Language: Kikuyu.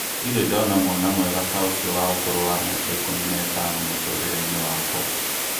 Ndĩrĩ ndona mwana mwega ta ũcio wa ũkũrũ wa mĩaka ikũmi na ĩtano mũtũrĩre-inĩ wakwa